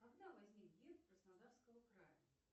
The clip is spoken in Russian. когда возник герб краснодарского края